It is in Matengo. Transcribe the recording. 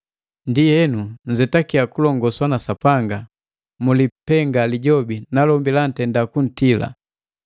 Ndienu, nzetakiya kulongoswa na Sapanga, mulipenga Lijobi najombi jiitenda kutila.